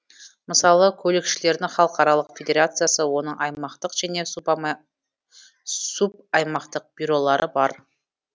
мысалы көлікшілердің халықаралық федерациясы оның аймақтық және субаймақтық бюролары бар